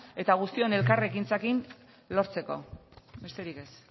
eta guztion elkarrekintzarekin lortzeko besterik ez